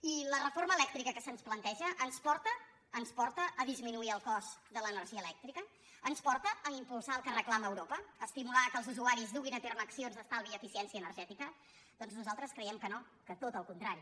i la reforma elèctrica que se’ns planteja ens porta ens porta a disminuir el cost de l’energia elèctrica ens porta a impulsar el que reclama euro·pa a estimular que els usuaris duguin a terme accions d’estalvi i eficiència energètica doncs nosaltres cre·iem que no que tot el contrari